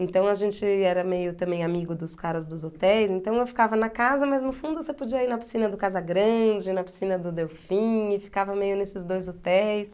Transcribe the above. Então a gente era meio também amigo dos caras dos hotéis, então eu ficava na casa, mas no fundo você podia ir na piscina do Casa Grande, na piscina do Delfim, e ficava meio nesses dois hotéis.